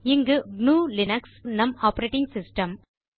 இங்கே gnuலினக்ஸ் நம் ஆப்பரேட்டிங் சிஸ்டம்